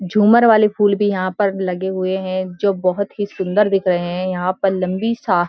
झूमर वाले फूल भी यहाँ पर लगे हुए हैं जो बहुत ही सुंदर दिख रहे हैं यहाँ पर लंबी-सा --